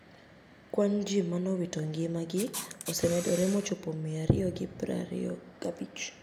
Kwani ji manowito nigima gi ose medore mochopo 225